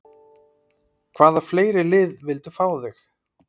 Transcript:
Hvaða fleiri lið vildu fá þig?